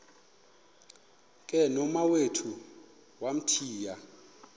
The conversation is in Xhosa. ke nomawethu wamthiya